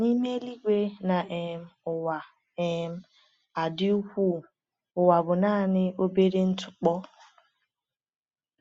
N’ime eluigwe na um ụwa um a dị ukwuu, ụwa bụ naanị obere ntụpọ.